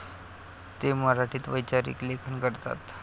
ते मराठीत वैचारिक लेखन करतात.